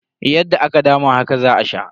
Yadda aka dama haka za a sha.